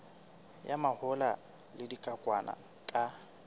ya mahola le dikokwanyana ka